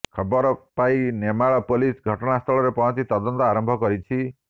ଖବର ପାଇ ନେମାଳ ପୋଲିସ ଘଟଣା ସ୍ଥଳରେ ପହଞ୍ଚି ତଦନ୍ତ ଆରମ୍ଭ କରିଛି